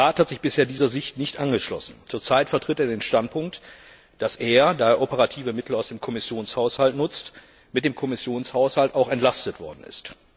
Der Rat hat sich bisher dieser Sicht nicht angeschlossen. Zurzeit vertritt er den Standpunkt, dass er da er operative Mittel aus dem Kommissionshaushalt nutzt mit dem Kommissionshaushalt auch entlastet worden ist.